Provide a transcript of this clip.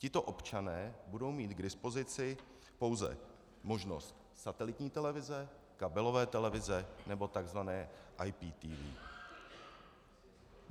Tito občané budou mít k dispozici pouze možnost satelitní televize, kabelové televize nebo tzv. IPTV.